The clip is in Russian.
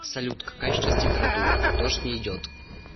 салют какая сейчас температура дождь не идет